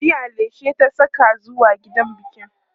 jiya leshi ta Saka zuwa gidan biki